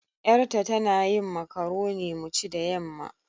Yar ta, tana yin macoroni mu ci da yamma.